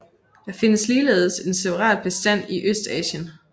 Der findes ligeledes en separat bestand i Østasien